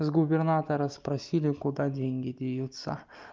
с губернатора спросили куда деньги деваются